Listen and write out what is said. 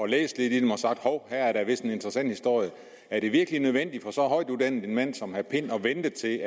læst lidt i dem og sagt hov her er da vist en interessant historie er det virkelig nødvendigt for så højtuddannet en mand som herre pind at vente til